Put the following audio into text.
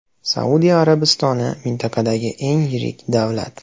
Saudiya Arabistoni mintaqadagi eng yirik davlat.